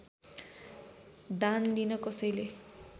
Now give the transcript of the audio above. दान लिन कसैले